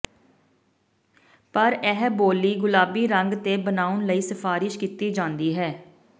ਪਰ ਇਹ ਬੋਲੀ ਗੁਲਾਬੀ ਰੰਗ ਤੇ ਬਣਾਉਣ ਲਈ ਸਿਫਾਰਸ਼ ਕੀਤੀ ਜਾਂਦੀ ਹੈ